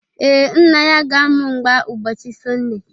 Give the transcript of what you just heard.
Ee, Nna ya ga-amụ mgba ụbọchị Sọnde